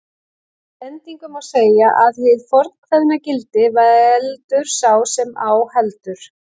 Að endingu má segja að hið fornkveðna gildi, veldur sá sem á heldur